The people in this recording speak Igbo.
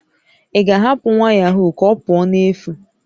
Ị ga-ahapụ nwa yahoo ka ọ pụọ n'efu?